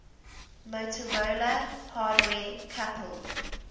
motorola hardware coupled